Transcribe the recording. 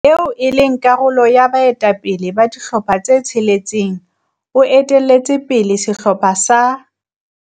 eo e leng karolo ya baetapele ba dihlopha tse tsheletseng o etelletse pele sehlopha sa